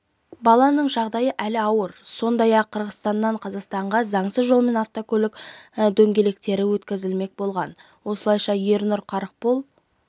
баланың жағдайы әлі ауыр сондай-ақ қырғызстаннан қазақстанға заңсыз жолмен автокөлік дөңгелектері өткізілмек болған осылайша ернұр қарықбол